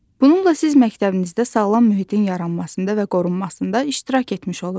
Bununla siz məktəbinizdə sağlam mühitin yaranmasında və qorunmasında iştirak etmiş olursunuz.